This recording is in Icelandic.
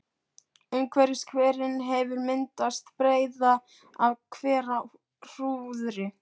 Umhverfis hverinn hefur myndast breiða af hverahrúðri.